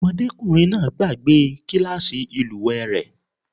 Ọmọdékùnrin náà gbàgbe kílàsì ìlúwè rẹ̀.